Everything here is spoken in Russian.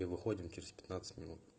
и выходим через пятнадцать минут